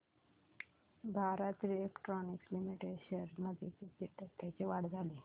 Bharat electronics limited shares मध्ये किती टक्क्यांची वाढ झाली